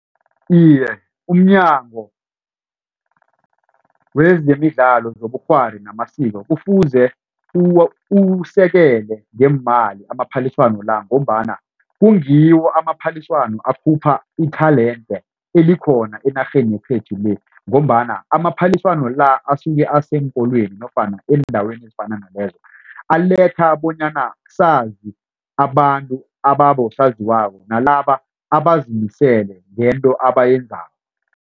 Iye umnyango wezemidlalo zobukghwari namasiko kufuze uwusekele ngeemali amaphaliswano la ngombana kungiwo amaphaliswano akhupha i-talent elikhona enarheni yekhethu le ngombana amaphaliswano la asuke aseenkolweni nofana eendaweni ezifana nalezo aletha bonyana sazi abantu ababosaziwako nalaba abazimiseleko ngento abayenzako.